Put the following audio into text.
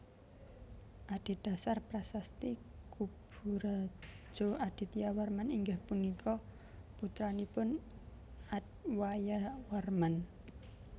Adhedhasar Prasasti Kuburajo Adityawarman inggih punika putranipun Adwayawarman